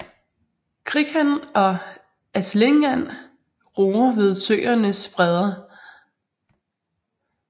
Krikand og atlingand ruger ved søernes bredder